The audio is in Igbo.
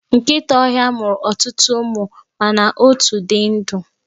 Nkịta ọhịa mụrụ ọtụtụ ụmụ mana otu di ndụ.